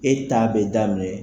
E t'a bɛ daminɛ.